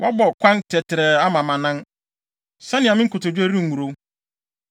Woabɔ kwan tɛtrɛɛ ama mʼanan sɛnea me nkotodwe rengurow.